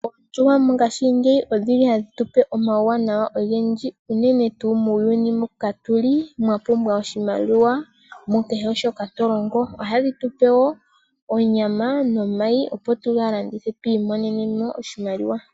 Oondjuhwa mongaashingeyi odhi li hadh tu pe omauwanawa ogendji, unene tuu muuyuni mbuka tu li, mwa pumbwa oshimaliwa, mu kehe shoka to longo. Oha dhi tu pe wo onyama nomayi opo tuga landithe, twi imonene mo oshimaliwa.